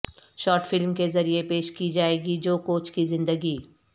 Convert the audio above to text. short film کے ذریعہ پیش کی جائے گی جوکوچ کی زندگی